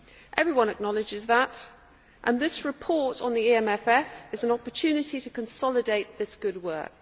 Everyone acknowledges that, and this report on the EMFF is an opportunity to consolidate this good work.